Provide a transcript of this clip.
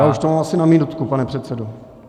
Já už to mám asi na minutku, pane předsedo.